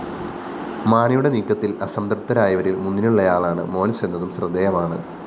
മാണിയുടെ നീക്കത്തില്‍ അസംതൃപ്തരായവരില്‍ മുന്നിലുള്ളയാളാണ് മോന്‍സ് എന്നതും ശ്രദ്ധേയമാണ്